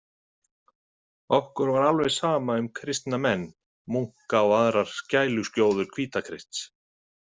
Okkur var alveg sama um kristna menn, munka og aðrar skæluskjóður Hvítakrists.